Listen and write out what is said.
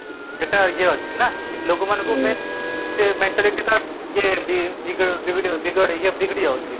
ଏଟା ୟେ ଅଛି ନା ଲୋକ ମାନଙ୍କୁ ସେ mentality ଟା ୟେ ବି ବିଗଡି ଯାଉଛି